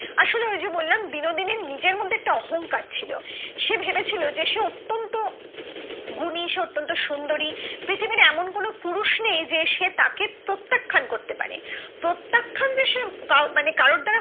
কিন্তু একটা অহংকার ছিল সে ভেবে ছিল যে সে অত্যান্ত গুণী অত্যান্ত সুন্দরী পৃথিবীর এমন কোনো পুরুষ যে সে তাকে প্রত্যাখান করতে পারে প্রত্যাখান যে মানে কারো দ্বারা